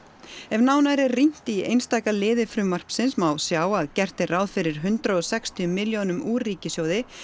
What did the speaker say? ef nánar er rýnt í einstaka liði frumvarpsins má sjá að gert er ráð fyrir hundrað og sextíu milljónum úr ríkissjóði